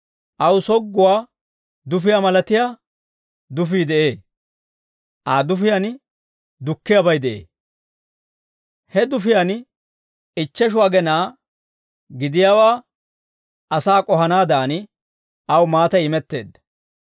Aw sogguwaa dufiyaa malatiyaa dufii de'ee; Aa dufiyaan dukkiyaabay de'ee. He dufiyaan ichcheshu agenaa gidiyaawaa asaa k'ohanaadan, aw maatay imetteedda.